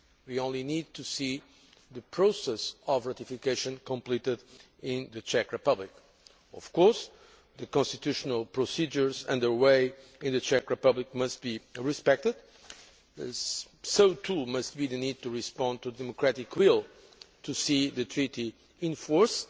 We only need to see the process of ratification completed in the Czech Republic. Of course, the constitutional procedures under way in the Czech Republic must be respected, so too must be the need to respond to the democratic will to see the Treaty enter into force.